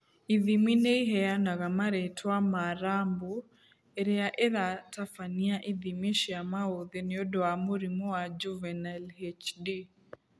Ithimi nĩiheanaga marĩtwa ma rambu irĩa iratabania ithimi cia maũthĩ nĩũndũ ma mũrimũ wa Juvenile HD